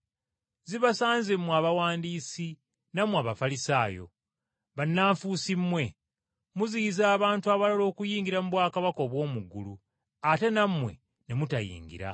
“Zibasanze mmwe Abawandiisi, nammwe Abafalisaayo. Bannanfuusi mmwe! Muziyiza abantu abalala okuyingira mu bwakabaka obw’omu ggulu, ate nammwe ne mutayingira.